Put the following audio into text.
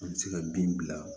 An bɛ se ka bin bila